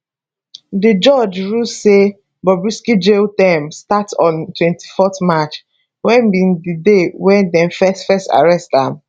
di judge rule say bobrisky jail term start on 24 march wey be di day wey dem first first arrest am